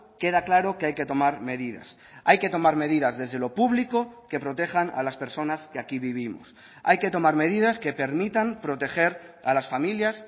queda claro que hay que tomar medidas hay que tomar medidas desde lo público que protejan a las personas que aquí vivimos hay que tomar medidas que permitan proteger a las familias